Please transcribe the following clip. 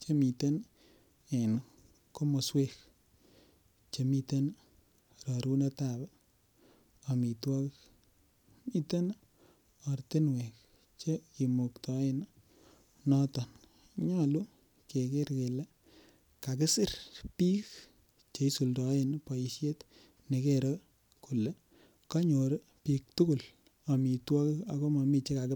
Che miten en komoswek Che miten rorunet ab amitwogik miten ortinwek Che kimuktaoen noton nyolu keger kakisir bik Che isuldoen boisiet nekere kole kanyor bik tugul amitwogik ak momiten Che kakibakta